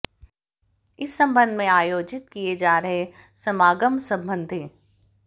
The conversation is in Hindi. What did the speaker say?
इस सबंध में आयोजित किए जा रहे समागम सबंधी